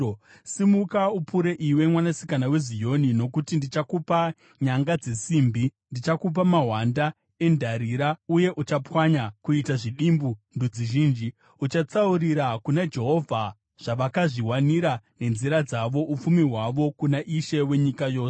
“Simuka upure, iwe Mwanasikana weZioni, nokuti ndichakupa nyanga dzesimbi; ndichakupa mahwanda endarira uye uchapwanya kuita zvidimbu ndudzi zhinji.” Uchatsaurira kuna Jehovha zvavakazviwanira nenzira dzavo, upfumi hwavo kuna Ishe wenyika yose.